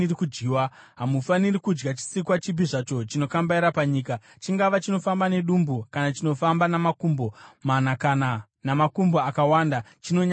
Hamufaniri kudya chisikwa chipi zvacho chinokambaira panyika, chingava chinofamba nedumbu kana chinofamba namakumbo mana kana namakumbo akawanda, chinonyangadza.